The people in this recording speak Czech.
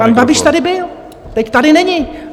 Pan Babiš tady byl, teď tady není.